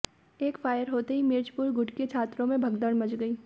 एक फायर होते ही मिर्चपुर गुट के छात्रों में भगदड़ मच गई